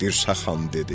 Dirsə xan dedi: